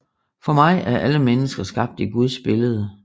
For mig er alle mennesker skabt i Guds billede